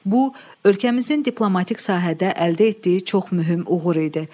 Bu, ölkəmizin diplomatik sahədə əldə etdiyi çox mühüm uğur idi.